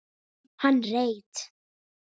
Hann reit